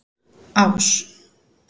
Ás